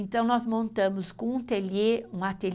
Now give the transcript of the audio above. Então nós montamos com um ateliê de artes,